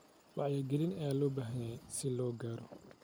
Wacyigelin ayaa loo baahan yahay si loo gaaro.